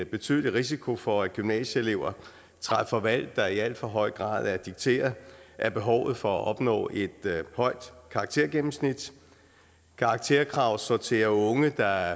betydelig risiko for at gymnasieelever træffer valg der i al for høj grad er dikteret af behovet for at opnå et højt karaktergennemsnit karakterkrav sorterer unge der